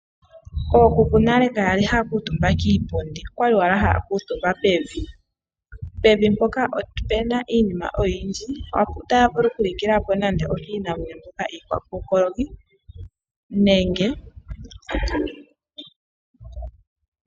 Ookuku nale kakwali haya kuutumba kiipundi okwali owala haya kuutumba pevi. Pevi mpoka opuna iinima oyindji, otaya vulu okulikila po nande okiinamwenyo mbyoka iikokoloki nenge iihono.